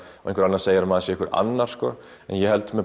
og einhver annar segir að maður sé einhver annar sko ég held með